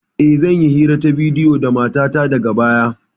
E, zan yi hira ta bidiyo da matata daga baya.